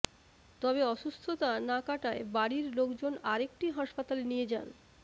তবে অসুস্থতা না কাটায় বাড়ির লোকজন আরেকটি হাসপাতালে নিয়ে যান